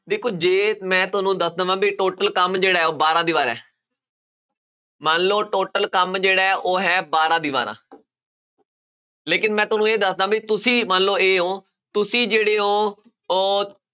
ਦੇਖੋ ਜੇ ਮੈਂ ਤੁਹਾਨੂੰ ਦੱਸ ਦੇਵਾਂ ਵੀ total ਕੰਮ ਜਿਹੜਾ ਹੈ ਉਹ ਬਾਰਾਂ ਦੀਵਾਰਾਂ ਹੈ ਮੰਨ ਲਓ total ਕੰਮ ਜਿਹੜਾ ਹੈ ਉਹ ਹੈ ਬਾਰਾਂ ਦੀਵਾਰਾਂ ਲੇਕਿੰਨ ਮੈਂ ਤੁਹਾਨੂੰ ਇਹ ਦੱਸ ਦੇਵਾਂ ਵੀ ਤੁਸੀਂ ਮੰਨ ਲਓ a ਹੋ, ਤੁਸੀਂ ਜਿਹੜੇ ਹੋ ਉਹ